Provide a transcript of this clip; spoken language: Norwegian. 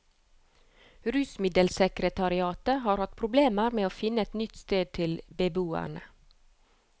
Rusmiddelsekretariatet har hatt problemer med å finne et nytt sted til beboerne.